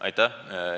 Aitäh!